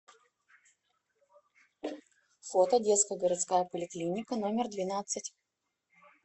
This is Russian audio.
фото детская городская поликлиника номер двенадцать